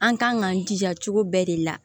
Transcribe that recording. An kan k'an jija cogo bɛɛ de la